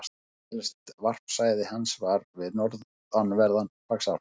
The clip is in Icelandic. Annað helsta varpsvæði hans er við norðanverðan Faxaflóa.